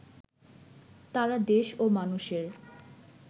তারা দেশ ও মানুষের